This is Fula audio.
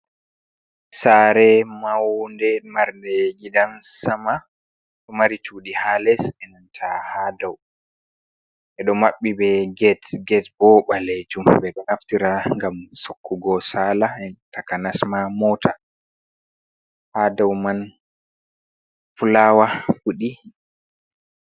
Sare maunde marde gidan sama ɗo mari cuɗi ha les enan ta ha dau. Ɓeɗo maɓɓi be get bo ɓalejum ɓe ɗo naftira ngam tokkugo sala taka nasma mota ha dau man fulawa fuɗi.